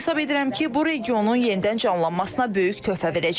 Hesab edirəm ki, bu regionun yenidən canlanmasına böyük töhfə verəcək.